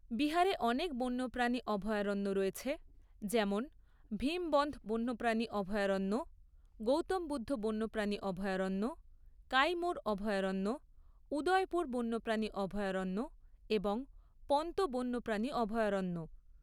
বিহারে অনেক বন্যপ্রাণী অভয়ারণ্য রয়েছে যেমন ভীমবন্ধ বন্যপ্রাণী অভয়ারণ্য, গৌতম বুদ্ধ বন্যপ্রাণী অভয়ারণ্য, কাইমুর অভয়ারণ্য, উদয়পুর বন্যপ্রাণী অভয়ারণ্য এবং পন্ত বন্যপ্রাণী অভয়ারণ্য।